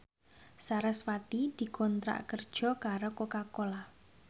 sarasvati dikontrak kerja karo Coca Cola